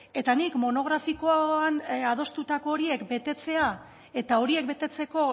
eta nik monografikoan adostutako horiek betetzea eta horiek betetzeko